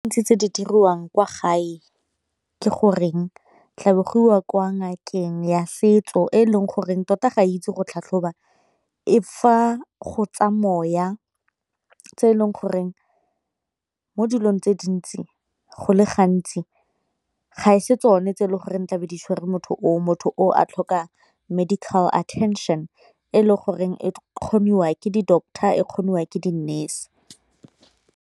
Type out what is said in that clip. tse di diriwang kwa gae ke goreng tlabe go iwa kwa ngakeng ya setso e leng goreng tota ga ke itse go tlhatlhoba e fa go tsa moya tse e leng goreng mo dilong tse dintsi go le gantsi ga e se tsone tse e le goreng tlabe ditshwere motho o o, motho o a tlhoka medical attention e le goreng e kgoniwake di-doctor e kgoniwa ke di-nurse.